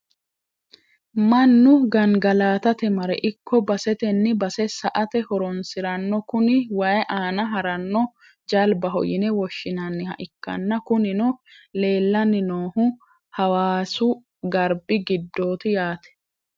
mannu gangalatate mare ikko basetenni base sa'ate horonsiranno kuni wayi aana haranno jalbaho yine woshshinaniha ikkanna, kunino leelanni noohu hawaasu garbi giddooti yaate.